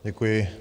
Děkuji.